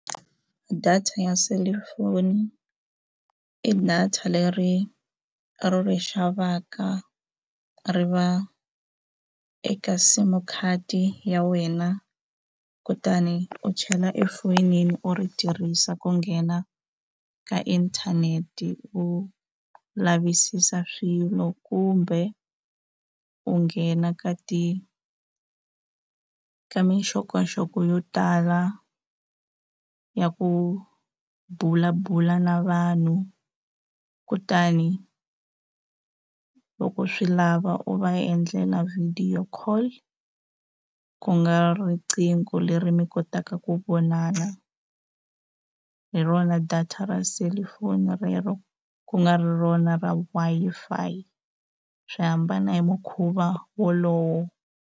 Data ya selifoni i data leri ri ri xavaka ri va eka sim card ya wena kutani u chela efonini u ri tirhisa ku nghena ka inthanete u lavisisa swilo kumbe u nghena ka ti ka minxokoxoko yo tala ya ku bula bula na vanhu kutani loko u swi lava u va endlela video call ku nga riqingho leri mi kotaka ku vonana hi rona data ra selufoni rero ku nga ri rona ra Wi-Fi swi hambana hi mukhuva wolowo.